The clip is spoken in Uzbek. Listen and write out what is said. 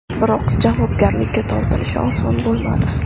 Biroq javobgarlikka tortilishi oson bo‘lmadi.